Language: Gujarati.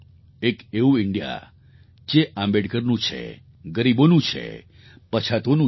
એક એવું ઇન્ડિયા જે આંબેડકરનું છે ગરીબોનું છે પછાતોનું છે